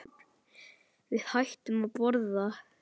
Við hættum að borða.